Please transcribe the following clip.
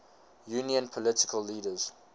union political leaders